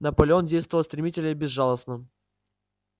наполеон действовал стремительно и безжалостно